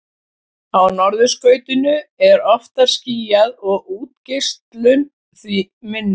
á norðurskautinu er oftar skýjað og útgeislun því minni